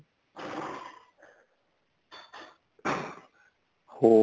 ਹੋਰ